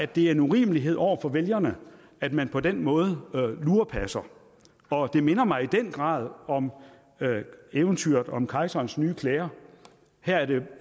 det er en urimelighed over for vælgerne at man på den måde lurepasser og det minder mig i den grad om eventyret om kejserens nye klæder her er det